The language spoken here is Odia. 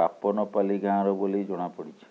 ବାପନପାଲି ଗାଁର ବୋଲି ଜଣାପଡିଛି